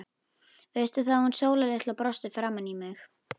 Veistu það, að hún Sóla litla brosti framan í mig.